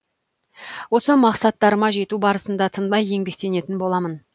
осы мақсаттарыма жету барысында тынбай еңбектенетін боламын